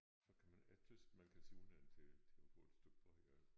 Så kan man jeg tys man kan sige unden til til at få et stykke brød